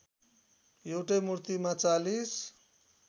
एउटै मूर्तिमा ४०